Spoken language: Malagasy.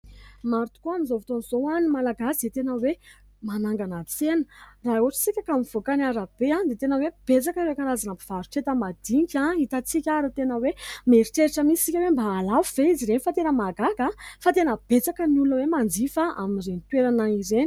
Maro tokoa amin'izao fotoan'izao ny Malagasy izay tena hoe manangana tsena. Raha ohatra isika mivoaka ny arabe dia tena hoe betsaka ireo karazana mpivarotra enta-madinika hitantsika ary tena hoe mieritreritra mihitsy isika hoe mba hahalafo ve izy ireny ? Fa tena mahagaga fa tena betsaka ny olona hoe manjifa amin'ireny toerana ireny.